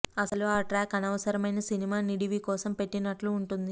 అసలు ఆ ట్రాక్ అనవసరమైన సినిమా నిడివి కోసం పెట్టినట్లు ఉంటుంది